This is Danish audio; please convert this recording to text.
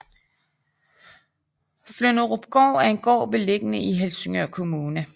Flynderupgård er en gård beliggende i Helsingør Kommune